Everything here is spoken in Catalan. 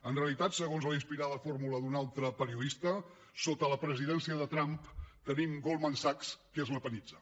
en realitat segons la inspirada fórmula d’un altre periodista sota la presidència de trump tenim goldman sachs que es lepenitza